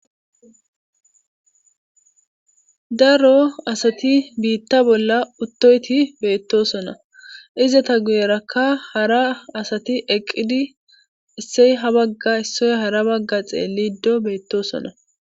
Daro asati biitta bolla uttoyti beettoosona izata guyerakka hara asati eqqidi issey ha bagga issoy hara bagga xeelliddo beettoosona.